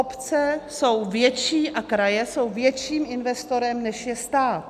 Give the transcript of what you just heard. Obce jsou větším a kraje jsou větším investorem, než je stát.